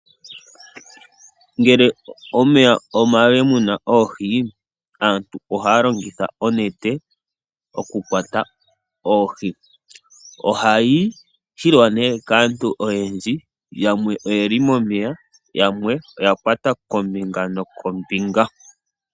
Ngele omeya omale muna oohi, aantu ohaya longitha onete okukwata oohi. Ohayi hilwa nee kaantu oyendji, yamwe oyeli momeya, yamwe oya kwata kombinga nokombinga.